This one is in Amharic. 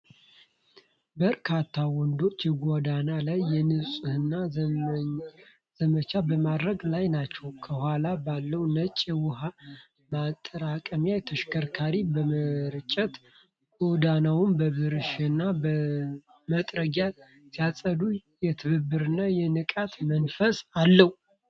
በርካታ ወንዶች የጎዳና ላይ የንጽህና ዘመቻ በማድረግ ላይ ናቸው። ከኋላ ባለው ነጭ የውሃ ማጠራቀሚያ ተሽከርካሪ በመርጨት፣ ጎዳናውን በብሩሽና መጥረጊያ ሲያጸዱ፣ የትብብርና የንቃት መንፈስ አለዉ።